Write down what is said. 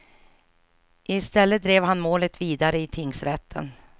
I stället drev han målet vidare i tingsrätten.